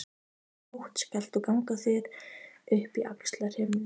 Í nótt skalt þú ganga þér upp í Axlarhyrnu.